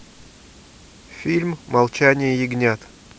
фильм молчание ягнят